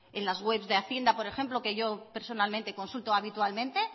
en las webs de hacienda por ejemplo que yo personalmente consulto habitualmente